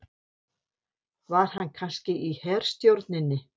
Var hann kannski í herstjórninni?